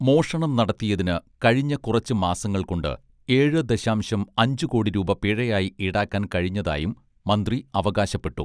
മോഷണം നടത്തിയതിന് കഴിഞ്ഞ കുറച്ച് മാസങ്ങൾ കൊണ്ട് ഏഴ് ദശാംശം അഞ്ച് കോടി രൂപ പിഴയായി ഈടാക്കാൻ കഴിഞ്ഞതായും മന്ത്രി അവകാശപ്പെട്ടു